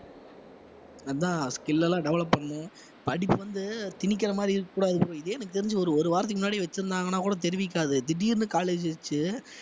அதான் skill எல்லாம் develop பண்ணனும் படிப்பு வந்து திணிக்கிற மாதிரி இருக்கக் கூடாது bro இதே எனக்கு தெரிஞ்சு ஒரு ஒரு வாரத்துக்கு முன்னாடி வச்சிருந்தாங்கன்னா கூட திடீர்ன்னு college வைச்சு